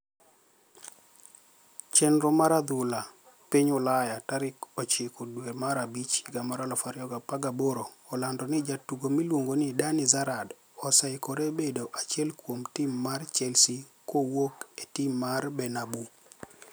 Cheniro mag adhula piniy ulaya tarik ochiko dwe mar abich higa mar 2018 olanido nii jatugo miluonigo nii Dani Zarad oseikore bedo achiel kuom tim mar Chelsea kuwuok eti mar Barniabau.